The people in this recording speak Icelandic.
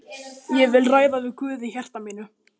Ég vil ræða við Guð í hjarta mínu.